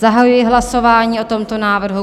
Zahajuji hlasování o tomto návrhu.